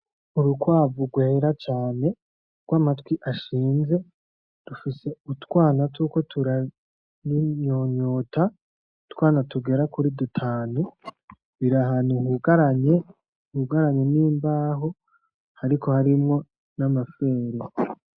Urukwavu rwera cane, rw'amatwi ashinze, rufise utwana turiko turarunyonyota, utwana tugera kuri dutanu, biri ahantu hugaranye n'imbaho ariko harimwo n'amafere.